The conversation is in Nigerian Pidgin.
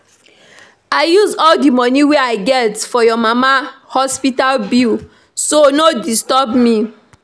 I use all the money wey I get for your mama hospital bill so no disturb me